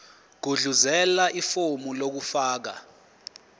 gudluzela ifomu lokufaka